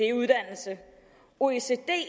er uddannelse oecd